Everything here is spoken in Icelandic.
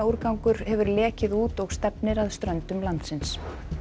eiturefnaúrgangur hefur lekið út og stefnir að ströndum landsins